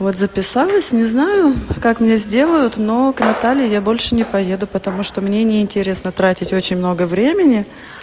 вот записалась не знаю как мне сделают но к наталье я больше не поеду потому что мне не интересно тратить очень много времени